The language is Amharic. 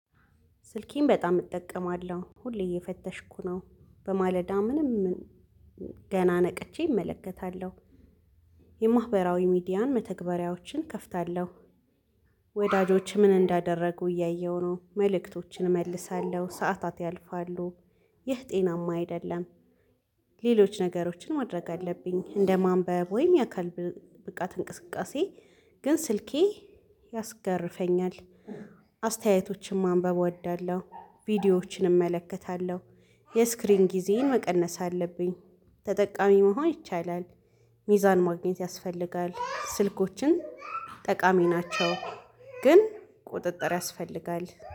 ስልኬን በጣም እጠቀማለሁ ሁሌ እየፈተሽኩ ነው በማለዳ ምንም ገና ነቅቼ እመለከታለሁ የማህበራዊ ሚዲያን መተግበሪያዎችን እከፍታለሁ። ወዳጆች ምን እንዳደረጉ እያየሁ ነው መልእክቶችን እመልሳለሁ ሰዓታት ያልፋሉ ይህ ጤናማ አይደለም። ሌሎች ነገሮችን ማድረግ አለብኝ እንደ ማንበብ ወይም የአካል ብቃት እንቅስቃሴ ግን ስልኬ ያስገርፈኛል። አስተያየቶችን ማንበብ እወዳለሁ ቪዲዮዎችን እመለከታለሁ የስክሪን ጊዜዬን መቀነስ አለብኝ ተጠቃሚ መሆን ይቻላል። ሚዛን ማግኘት ያስፈልጋል ስልኮችን ጠቃሚ ናቸው ግን ቁጥጥር ያስፈልጋል